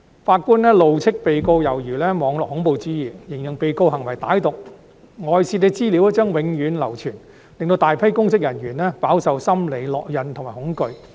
法官怒斥被告猶如施行"網絡恐怖主義"，形容被告行為歹毒；外泄資料將永久流傳，令大批公職人員飽受心理烙印和恐懼。